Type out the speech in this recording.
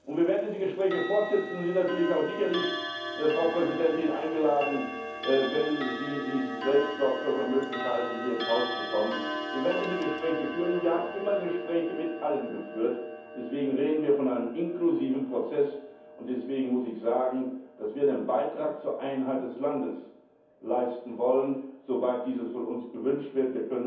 Wir werden diese Gespräche fortsetzen, und sie sind natürlich auch sicherlich eingeladen, wenn dies möglich ist, hier ins Haus zu kommen. Wir werden diese Gespräche führen, und wir haben immer Gespräche mit allen geführt. Deswegen reden wir von einem inklusiven Prozess, und deswegen muss ich sagen, dass wir einen Beitrag zur Einheit des Landes leisten wollen, soweit dies von uns erbeten wird.